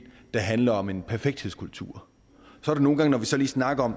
der handler om en perfekthedskultur nogle gange når vi så lige snakker om